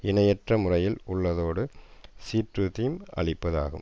இணையற்ற முறையில் உள்ளதோடு சீற்றத்தையும் அளிப்பது ஆகும்